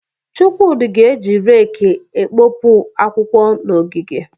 Chukwudi ga-eji rẹeki ekpopụ akwụkwọ n'ogige.